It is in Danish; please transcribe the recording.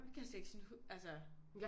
Det kan jeg slet ikke sådan altså